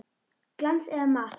Glans eða matt?